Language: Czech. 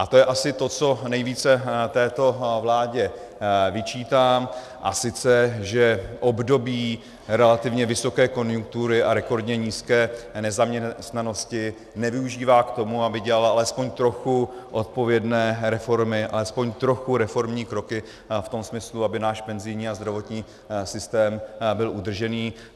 A to je asi to, co nejvíce této vládě vyčítám, a sice že období relativně vysoké konjunktury a rekordně nízké nezaměstnanosti nevyužívá k tomu, aby dělala alespoň trochu odpovědné reformy, alespoň trochu reformní kroky v tom smyslu, aby náš penzijní a zdravotní systém byl udržený.